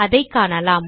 அதை காணலாம்